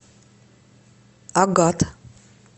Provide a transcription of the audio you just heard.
агат